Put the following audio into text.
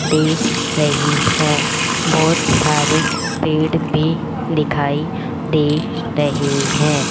दे रही है बहोत सारे पेड़ भी दिखाई दे रहे हैं।